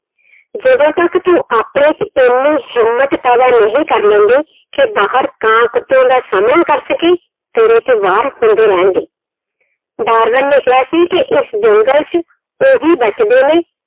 ਜਦੋਂ ਤੱਕ ਤੂੰ ਆਪਣੇ 'ਚ ਇੰਨੀ ਹਿੰਮਤ ਪੈਦਾ ਨਹੀਂ ਕਰ ਲੈਂਦੀ ਕਿ ਬਾਹਰ ਕਾਂ ਕੁੱਤਿਆਂ ਦਾ ਸਾਹਮਣਾ ਕਰ ਸਕੇਂ, ਤੇਰੇ ਤੇ ਵਾਰ ਹੁੰਦੇ ਰਹਿਣਗੇ, ਡਾਰਬਨ ਨੇ ਕਿਹਾ ਸੀ ਕਿ ਇਸ ਜੰਗਲ 'ਚ ਉਹੀ ਬਚਦੇ ਨੇ